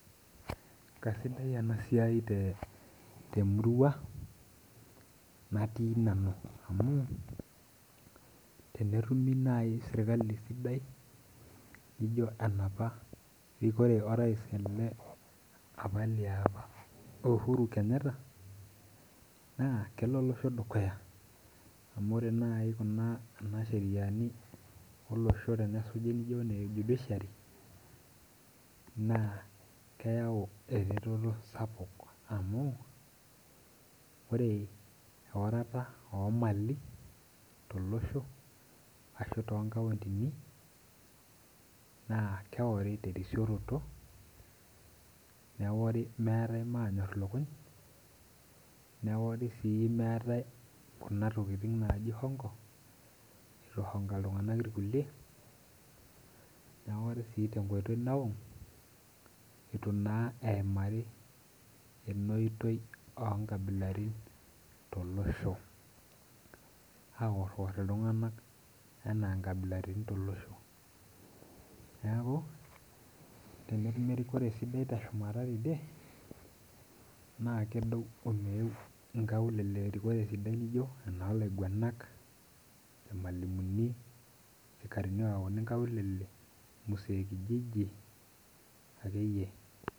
Kaisaidia ena siai temurua natii nanu amu tenetumi sirkali sidai naijo enapa rikore orais ama liapa uhuru kenyatta, naa kelo olosho dukuya amu tenesuji naaji kuna sheriani naijo kuna ejudishiari naa keyau naaji ereteto sapuk amu ore eorota oomali tolosho ashu toonkaontini naa Keori terisioroto, neori meetae maanyor ilukuny, neori sii maate kuna tokiting' naaji hongo eitu eihonga iltunganak irkulie ,neori tenkoitoi nawang eitu naa eimari kuna oitoi oonkabilaritin tolosho aor iltunganak loonkabilaritin tolosho. Neeku tenetumi erikore sidai teshumata tidie ,naa kedou omeeu nkaulele erikore sidai naijo enoolainguanak, enoormalimuni, sikarini oyauni nkaulele msee kijiji akeyie.